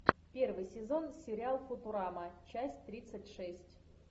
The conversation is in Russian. первый сезон сериал футурама часть тридцать шесть